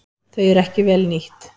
Þau eru ekki vel nýtt.